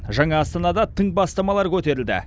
жаңа астанада тың бастамалар көтерілді